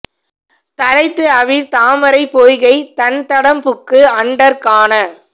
தளைத்து அவிழ் தாமரைப் பொய்கைத் தண் தடம் புக்கு அண்டர் காண